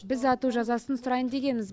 біз ату жазасын сұрайын дегенбіз